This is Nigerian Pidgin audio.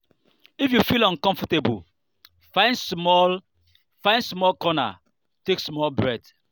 if you feel uncomfortable find small find small corner take small breath.